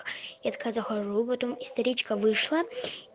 я такая захожу потом историчка вышла